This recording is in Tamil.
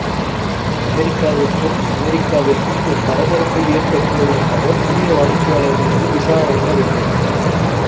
அமெரிக்காவிற்கும் அமெரிக்காவிற்கும் ஒரு பரபரப்பை ஏற்படுத்துவதற்காக புதிய வாடிக்கையாளர்களுக்கு விசா வழங்க வேண்டும்